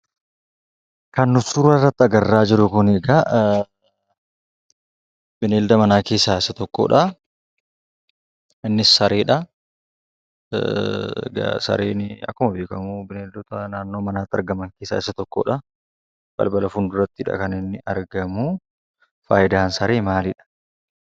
Kan suurarratti agarraa jirru kunii kaa egaa bineelda manaa keessaa isa tokkodhaa. Innis sareedhaa. Egaa sareenii akkuma beekkamuu bineeldota naannoo manaatti argaman keessaa isa tokkodhaa. Balbala fuuldurattidha kan inni argamuu fayidaan saree maalidha?